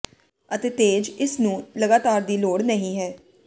ਅਤੇ ਤੇਜ ਇਸ ਨੂੰ ਲਗਾਤਾਰ ਦੀ ਲੋੜ ਨਹੀ ਹੈ